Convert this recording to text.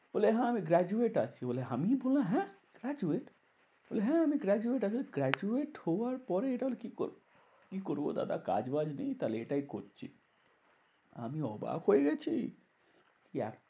বলে হ্যাঁ আমি graduate আছি বলে আমি বললাম হ্যাঁ graduate? বলে হ্যাঁ আমি graduate আমি graduate হওয়ার পরে এরা আর কি করবে? কি করবো দাদা কাজ বাজ নেই তাহলে এটাই করছি। আমি অবাক হয়ে গেছি। কি